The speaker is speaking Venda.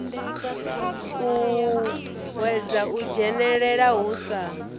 uuwedza u dzhenelela hu sa